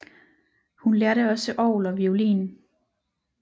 Hun lærte også orgel og violin